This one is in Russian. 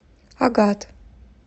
агат